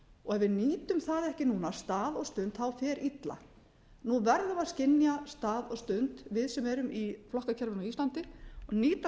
og ef við nýtum það ekki núna stað og stund fer illa nú verðum við að skynja stað og stund við sem eða í flokkakerfinu á íslandi og nýta